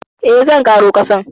Eh, zan ƙaro kasan.